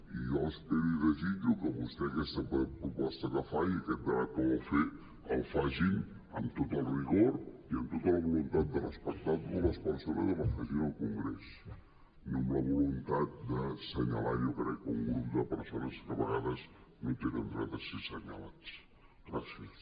i jo espero i desitjo que vostè que vostè aquesta proposta que fa i aquest debat que vol fer el faci amb tot el rigor i amb tota la voluntat de respectar totes les persones i el facin al congrés no amb la voluntat d’assenyalar jo crec un grup de persones que a vegades no tenen dret a ser assenyalades